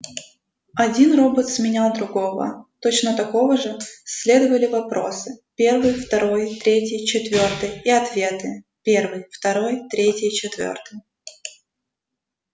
один робот сменял другого точно такого же следовали вопросы первый второй третий четвёртый и ответы первый второй третий четвёртый